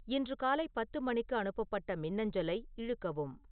இன்று காலை பத்து மணிக்கு அனுப்பப்பட்ட மின்னஞ்சலை இழுக்கவும்